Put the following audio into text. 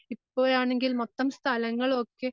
ഇപ്പൊ ആണെങ്കിൽ മൊത്തം സ്ഥലങ്ങളൊക്കെ